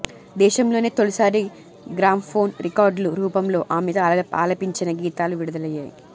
దేశంలోనే తొలిసారి గ్రామ్ఫోన్ రికార్డుల రూపంలో ఆమె ఆలపించిన గీతాలు విడుదలయ్యాయి